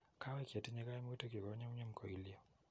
kawek chetinye kaimutichu konyunyum koilyo.